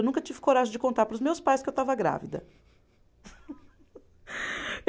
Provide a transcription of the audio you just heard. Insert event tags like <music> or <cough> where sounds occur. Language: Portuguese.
Eu nunca tive coragem de contar para os meus pais que eu estava grávida. <laughs>